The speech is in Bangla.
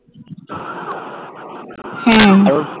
হ্যাঁ